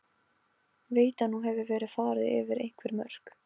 Veit að nú hefur verið farið yfir einhver mörk.